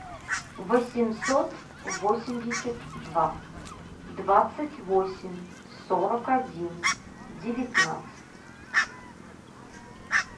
восемьсот восемьдесят два двадцать восемь сорок один девятнадцать